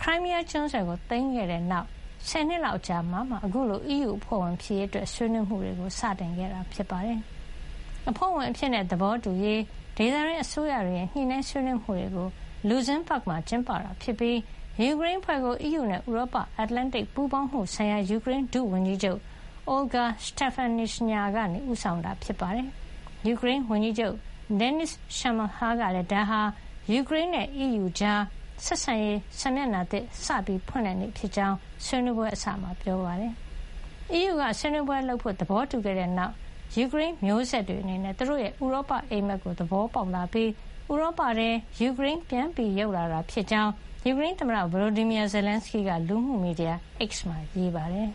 Crimea ကျွန်းဆွယ်ကို စတင် သိမ်းခဲ့တဲ့နောက် ဆယ်နှစ်လောက်အကြာမှာမှ အခုလို အီးယူအဖွဲ့ဝင် ဖြစ်ရေး ဆွေးနွေးမှုတွေ စတင်ခဲ့တာဖြစ်ပါတယ်။ အဖွဲ့ဝင်အဖြစ် သဘောတူရေး ဒေသတွင်း အစိုးရတွေရဲ့ ညှိနှိုင်းဆွေးနွေးမှုတွေကို Luxembourg မှာ ကျင်းပတာ ဖြစ်ပြီး ယူကရိန်းအဖွဲ့ကို အီးယူနဲ့ ဥရောပ- အတ္တလန်တိတ်ပူးပေါင်းမှုဆိုင်ရာ ယူကရိန်း ဒုဝန်ကြီးချုပ် Olga Stefanishyna က ဦးဆောင်တာပါ။ ယူကရိန်းဝန်ကြီးချုပ် Denys Shmyhal ကလည်း ဒါဟာ ယူကရိန်းနဲ့ အီးယူကြား ဆက်ဆံရေး စာမျက်နှာသစ် စတင်ဖွင့်လှစ်တဲ့နေ့ဖြစ်ကြောင်း ဆွေးနွေးပွဲအစမှာ ပြောပါတယ်။ အီးယူက ဆွေးနွေးပွဲ ပြုလုပ်ဖို့ သဘောတူခဲ့တဲ့နောက်မှာ ယူကရိန်း မျိုးဆက်တွေအနေနဲ့ သူတို့ရဲ့ ဥရောပအိပ်မက်ကို သဘောပေါက်လာပြီး ဥရောပထဲ ယူကရိန်း ပြန်ရောက်လာတာ ဖြစ်ကြောင်း ယူကရိန်းသမ္မတ Volodymyr Zelenskyy က လူမှုမီဒီယာ X မှာ ရေးပါတယ်။